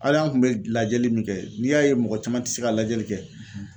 Hali an kun bɛ lajɛli min kɛ n'i y'a ye mɔgɔ caman tɛ se ka lajɛli kɛ